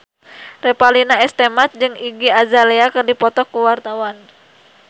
Revalina S. Temat jeung Iggy Azalea keur dipoto ku wartawan